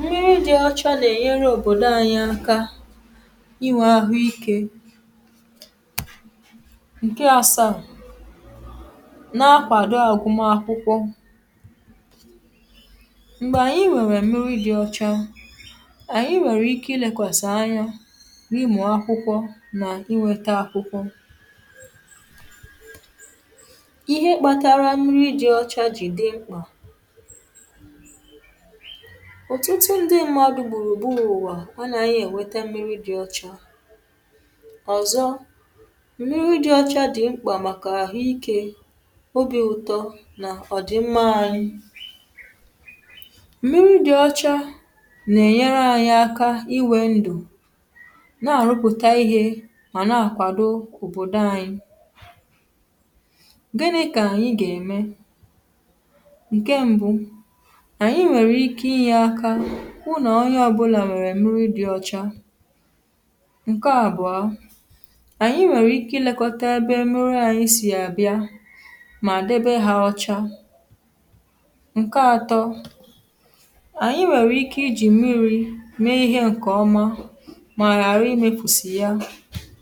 mmiri dị ọcha nà ẹ̀nyẹrẹ òbòdo anyị aka ịnwẹ̄ ahụ ikē. ǹke asaà, na akwàdo agụmakwụkwọ. m̀gbè ànyị nwẹ̀nwẹ̀ mmiri dị ọcha, ànyị nwẹ̀rẹ̀ ike ilēkwẹ̀sẹ̀ anya n’ịmụ̀ akwụkwọ nà ịnwẹta akwụkwọ ihe kpatara mmiri dị ọcha jì dị mkpà. òtụtụ ndị mmadu nà gbùrù gburū ụ̀wà anaghị̄ ẹ̀nwẹta mmiri dị ọcha. ọ̀zọ, mmiri dị ọcha dị̀ mkpà màkà àhụ ikē, obī ụtọ nà ọ̀dị̀mma anyị. mmiri dị ọcha nà ẹ̀nyẹrẹ anyị aka ịnwē ndụ̀, nà àrụpụ̀ta ihē, mà na akwàdo òbòdo anyị. gịnị̄ kà ị gà ème, ǹkẹ mbụ, ànyị nwẹ̀rẹ̀ ike ịnyẹ̄ aka nà onyẹ ọbụlà nwẹ̀rẹ̀ mmiri dị ọcha. ǹkẹ àbụ̀a, ànyị nwẹ̀rẹ̀ ike I lẹkọta ẹbẹ mmiri anyị sì àbịa, mà debe ha ọcha. ǹkẹ atọ, ànyị nwẹ̀rẹ̀ ike ijì m̀mirī me ihē ǹkè ọma, mà ghàra imēfùsì ya